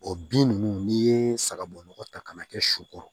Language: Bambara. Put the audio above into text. O bin ninnu n'i ye sagabo nɔgɔ ta ka na kɛ su kɔrɔ